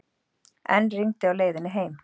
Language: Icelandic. Enn rigndi á leiðinni heim.